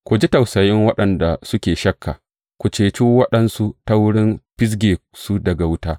Ku ji tausayin waɗanda suke shakka; ku cece waɗansu ta wurin fizge su daga wuta.